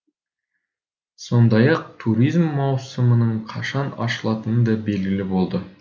сондай ақ туризм маусымының қашан ашылатыны де белгілі болды